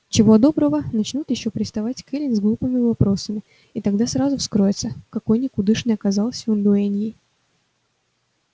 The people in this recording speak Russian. чего доброго начнут ещё приставать к эллин с глупыми вопросами и тогда сразу вскроется какой никудышной оказался он дуэньей